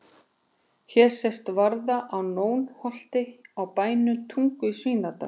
Hér sést varða á Nónholti á bænum Tungu í Svínadal.